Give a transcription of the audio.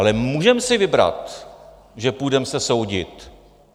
Ale můžeme si vybrat, že se půjdeme soudit.